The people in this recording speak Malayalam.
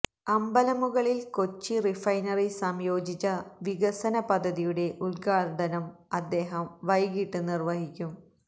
അമ്പലമുകളില് കൊച്ചി റിഫൈനറി സംയോജിത വികസന പദ്ധതിയുടെ ഉദ്ഘാടനം അദ്ദേഹം വൈകിട്ട് നിര്വ്വഹിക്കും